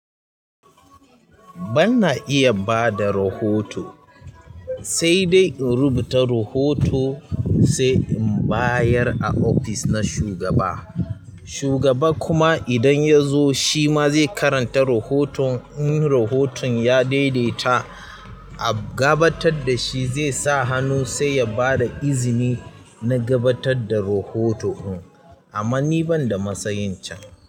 Bana iya bada rahoto, sai dai in rubuta rahoto sai in bayar a ofis na shugaba. Shugaba kuma idan ya zo shi ma zai karanta rahoton, in rahoton ya daidaita a gabatar da shi zai sa hannu sai ya bada izini na gabatar da rohoto'n. Amma ni ban da matsayin can.